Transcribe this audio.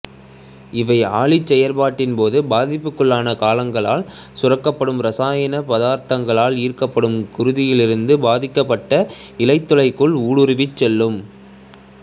இவை அழற்சிச் செயற்பாட்டின் போது பாதிப்புக்குள்ளான கலங்களால் சுரக்கப்படும் இரசாயனப் பதார்த்தங்களால் ஈர்க்கப்பட்டு குருதியிலிருந்து பாதிக்கப்பட்ட இழையத்துக்குள் ஊடுருவிச் செல்லும்